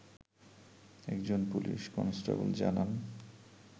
একজন police constable জানান